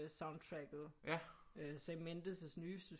Soundtracket Sam Mendes' nye